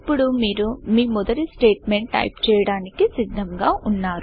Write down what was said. ఇప్పుడు మీరు మీ మొదటి స్టేట్మెంట్ టైపు చేయడానికి సిద్దముగా వున్నారు